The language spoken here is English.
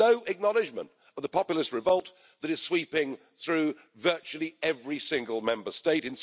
No acknowledgment of the populist revolt that is sweeping through virtually every single Member State.